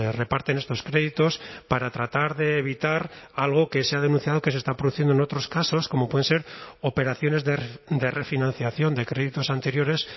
reparten estos créditos para tratar de evitar algo que se ha denunciado que se está produciendo en otros casos como pueden ser operaciones de refinanciación de créditos anteriores